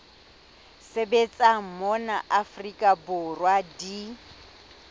sebetsang mona afrika borwa di